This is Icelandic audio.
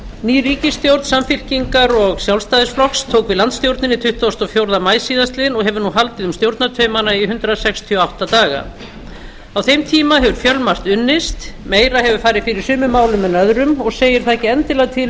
ný ríkisstjórn samfylkingar og sjálfstæðisflokks tók við landsstjórninni tuttugasta og fjórða maí síðastliðinn og hefur nú haldið um stjórnartaumana í hundrað sextíu og átta daga á þeim tíma hefur fjölmargt unnist meira hefur farið fyrir sumum málum en öðrum og segir það ekki endilega til um